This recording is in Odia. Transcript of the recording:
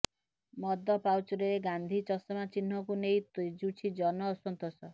ମଦ ପାଉଚ୍ରେ ଗାନ୍ଧି ଚଷମା ଚିହ୍ନକୁ ନେଇ ତେଜୁଛି ଜନ ଅସନ୍ତୋଷ